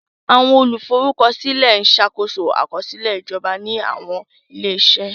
Àwọn olùforúkọsílẹ̀ ń ṣàkóso àkọsílẹ̀ ìjọba ní àwọn ilé-iṣẹ́.